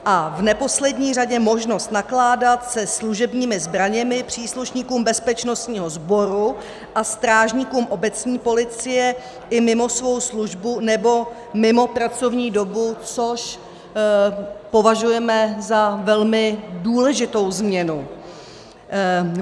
A v neposlední řadě možnost nakládat se služebními zbraněmi příslušníkům bezpečnostního sboru a strážníkům obecní policie i mimo svou službu nebo mimo pracovní dobu, což považujeme za velmi důležitou změnu.